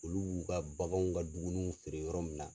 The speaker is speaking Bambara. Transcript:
Olu b'u ka baganw ka dumuniw feere yɔrɔ min na.